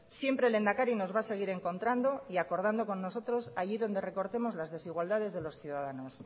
siempre lehendakari nos va a seguir encontrando y acordando con nosotros allí donde recortemos las desigualdades de los ciudadanos